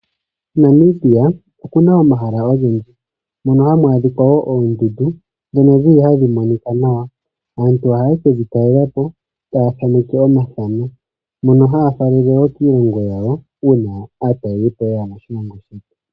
Namibia okuna omahala ogendji mono hamu adhika wo oondundu dhono dhili hadhi monika nawa ,aantu ohayekedhi talela po taya thaaneke omathano mono haya faalele wo kiilongo yawo uuna aatalelipo yeya moshilongo.